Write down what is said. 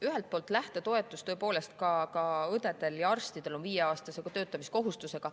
Ühelt poolt, lähtetoetus on tõepoolest ka õdedel ja arstidel viieaastasega töötamiskohustusega.